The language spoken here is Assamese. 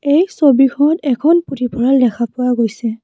এই ছবিখন এখন পুথিভঁৰাল দেখা পোৱা গৈছে।